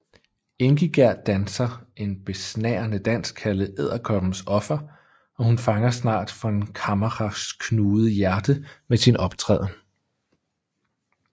Ingigerd danser en besnærende dans kaldet Edderkoppens Offer og hun fanger snart von Kammacher knugede hjerte med sin optræden